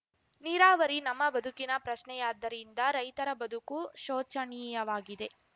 ನೀರಾವರಿ ನಮ್ಮ ಬದುಕಿನ ಪ್ರಶ್ನೆಯಾದ್ದರಿಂದ ರೈತರ ಬದುಕು ಶೋಚನೀಯವಾಗಿದೆ